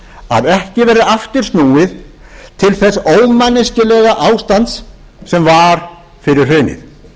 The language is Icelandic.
að ekki verði aftur snúið til þess ómanneskjulega ástands sem var fyrir hrunið